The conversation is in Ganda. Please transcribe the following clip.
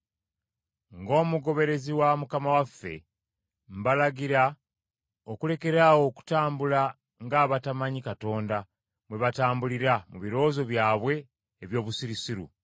Ng’omugoberezi wa Mukama waffe, mbalagira okulekeraawo okutambula ng’abatamanyi Katonda bwe batambulira mu birowoozo byabwe eby’obusirusiru.